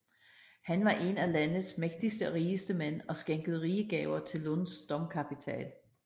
Han var en af landets mægtigste og rigeste mænd og skænkede rige gaver til Lunds domkapitel